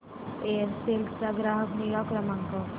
Aircel चा ग्राहक निगा क्रमांक